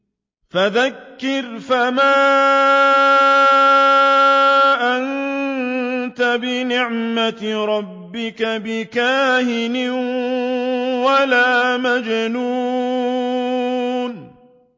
فَذَكِّرْ فَمَا أَنتَ بِنِعْمَتِ رَبِّكَ بِكَاهِنٍ وَلَا مَجْنُونٍ